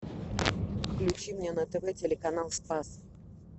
включи мне на тв телеканал спас